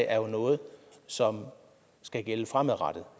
er noget som skal gælde fremadrettet